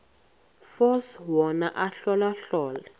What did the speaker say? force wona ahlolahlole